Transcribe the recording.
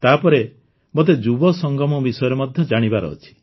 ତାପରେ ମୋତେ ଯୁବସଙ୍ଗମ ବିଷୟରେ ମଧ୍ୟ ଜାଣିବାର ଅଛି